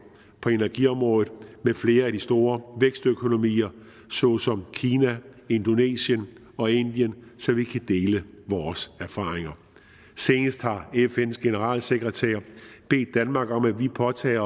på energiområdet med flere af de store vækstøkonomier såsom kina indonesien og indien så vi kan dele vores erfaringer seneste har fns generalsekretær bedt danmark om at påtage